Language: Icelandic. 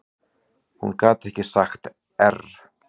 Hún gat ekki sagt err.